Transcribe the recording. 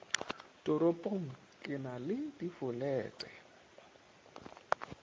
toropong ke na le difolete